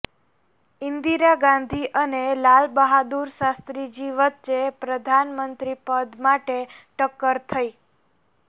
ઈંન્દીરા ગાંધી અને લાલબહાદુર શાસ્ત્રીજી વચ્ચે પ્રધાનમંત્રી પદ માટે ટક્કર થઈ